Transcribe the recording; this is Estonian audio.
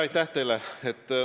Aitäh teile!